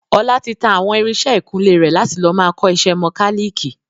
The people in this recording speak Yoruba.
Ọlá tí tá àwọn irinsẹ́ ìkunlé rẹ̀ láti lọ máa kọ ìṣe mọ́káliikì